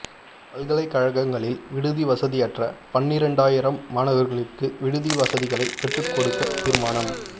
பல்கலைக்கழகங்களில் விடுதி வசதியற்ற பன்னிரெண்டாயிரம் மாணவர்களுக்கு விடுதி வசதிகளைப் பெற்றுக்கொடுக்க தீர்மானம்